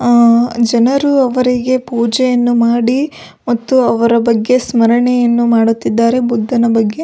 ಆ ಜನರು ಅವರಿಗೆ ಪೂಜೆಯನ್ನು ಮಾಡಿ ಮತ್ತು ಅವರ ಬಗ್ಗೆ ಸ್ಮರಣೆಯನ್ನು ಮಾಡುತ್ತಿದ್ದಾರೆ ಬುದ್ದನ ಬಗ್ಗೆ --